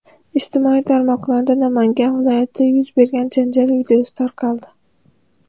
Ijtimoiy tarmoqlarda Namangan viloyatida yuz bergan janjal videosi tarqaldi.